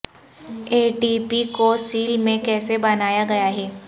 اے T P کو cell میں کیسے بنایا گیا ہے